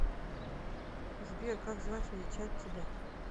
сбер как звать величать тебя